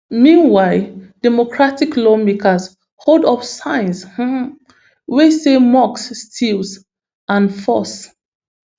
meanwhile democratic lawmakers hold up signs um wey say musk steals and false